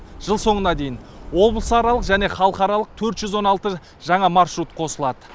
жыл соңына дейін облысаралық және халықаралық төрт жүз он алты жаңа маршрут қосылады